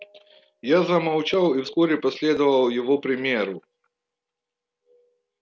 я замолчал и вскоре последовал его примеру